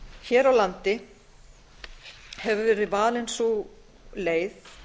hér á landi hefur verið valin sú leið